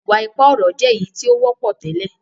iwa-ipa ọrọ jé èyítí o wọpọ tẹlẹ.